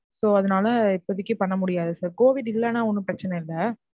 So அதுனால இப்போதைக்கு பண்ணமுடியாது sir COVID இல்லைனா ஒன்னும் பிரச்சனை இல்ல.